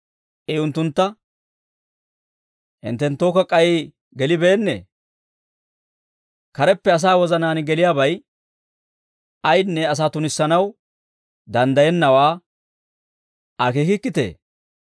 I unttuntta, «Hinttenttookka k'ay gelibeennee? Kareppe asaa wozanaan geliyaabay ayinne asaa tunissanaw danddayennawaa akeekiitee?